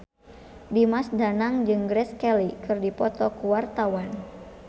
Dimas Danang jeung Grace Kelly keur dipoto ku wartawan